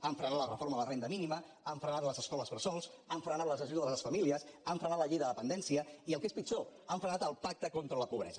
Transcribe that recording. han frenat la reforma de la renda mínima han frenat les escoles bressol han frenat les ajudes a les famílies han frenat la llei de dependència i el que és pitjor han frenat el pacte contra la pobresa